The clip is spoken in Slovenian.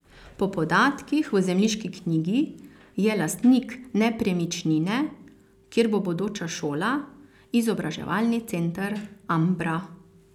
Po podatkih v zemljiški knjigi je lastnik nepremičnine, kjer bo bodoča šola, izobraževalni center Ambra.